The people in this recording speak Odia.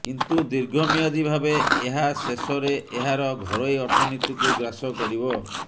କିନ୍ତୁ ଦୀର୍ଘମିଆଦୀ ଭାବେ ଏହା ଶେଷରେ ଏହାର ଘରୋଇ ଅର୍ଥନୀତିକୁ ଗ୍ରାସ କରିବ